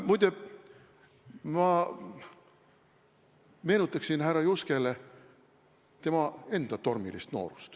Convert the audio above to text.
Muide, ma meenutaksin härra Juskele tema enda tormilist noorust.